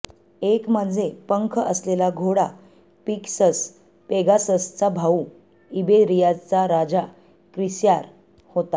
एक म्हणजे पंख असलेला घोडा पिगसस पेगाससचा भाऊ इबेरियाचा राजा क्रिस्यार होता